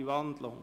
– Nein.